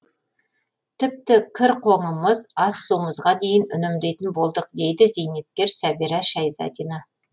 тіпті кір қоңымыз ас суымызға дейін үнемдейтін болдық дейді зейнеткер сәбира шайзадина